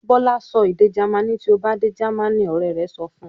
"Bọ́lá sọ èdè Jamaní tí ó bá dé Germany!" Ọ̀rẹ́ rẹ̀ sọ fún un.